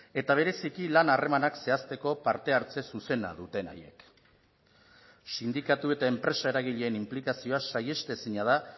eta bereziki lan harremanak zehazteko parte hartze zuzena duten haiek sindikatu eta enpresa eragileen inplikazioa saihestezina da